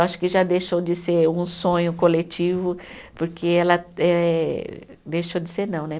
Acho que já deixou de ser um sonho coletivo, porque ela eh, deixou de ser não, né?